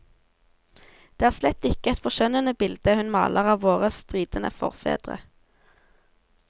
Det er slett ikke et forskjønnende bilde hun maler av våre stridende forfedre.